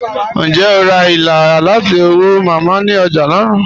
Ǹjẹ́ o rá ìlà láti ọ̀wọ̀ Mámá ni ọ̀já naa?